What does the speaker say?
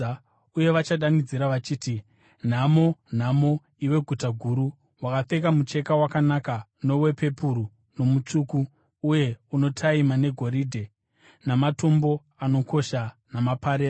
uye vachadanidzira vachiti: “ ‘Nhamo! Nhamo, iwe guta guru, wakapfeka mucheka wakanaka, nowepepuru, nomutsvuku, uye unotaima negoridhe, namatombo anokosha namaparera!